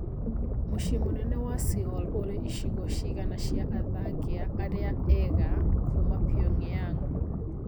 Mũcĩĩ mũnene wa Seoul ũrĩ icigo cigana cia athangia arĩa ega Kuma Pyongyang